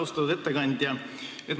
Austatud ettekandja!